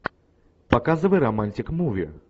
показывай романтик муви